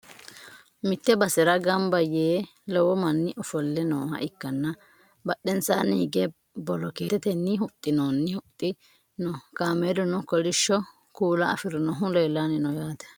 mitte basera ganba yee lowo manni ofolle nooha ikkanna badhensaanni hige bolokeetete huxxinoonni huxxi no kameeluno kolishsho kuula afirinohu leellanni no yaate